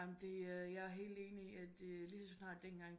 Det er jeg er helt enig at lige så snart den gang